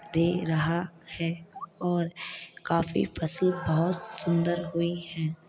दे रहा है और काफी फसल बहोत सुंदर हुई है।